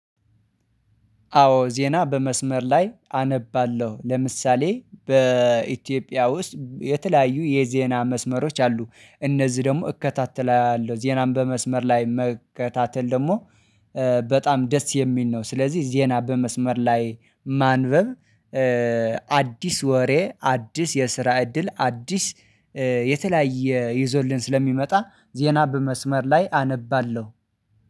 አዎ ዜና በመስመር ላይ አነባለሁ ለምሳሌ በኢትዮጵያ ውስጥ የተለያዩ የዜና መስመሮች አሉ እነዚህ ደግሞ እከታተላለሁ ዜናም በመስመር ላይ መከታተል ደግሞ በጣም ደስ የሚል ነው። ስለዚህ ዜና በመስመር ላይ ማንበብ። አዲስ ወሬ አዲስ የስራ እድል አዲስ የተለያየ ይዞልን ስለሚመጣ ዜና በመስመር ላይ አነባለሁ